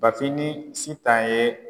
Bafin ni Sitan ye